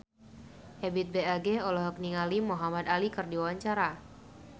Ebith G. Ade olohok ningali Muhamad Ali keur diwawancara